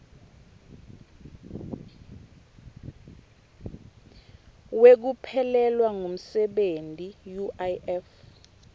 wekuphelelwa ngumsebenti uif